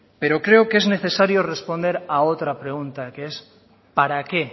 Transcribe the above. pero creo que es necesario responder a otra pregunta que es para qué